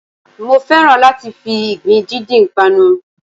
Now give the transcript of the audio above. Mo fẹ́ràn láti fi ìgbín díndín panu